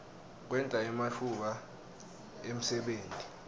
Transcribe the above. kwenta ematfuba emsebenti